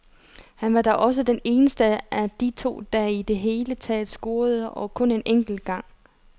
Han var da også den eneste af de to, der i det hele taget scorede, og kun en enkelt gang.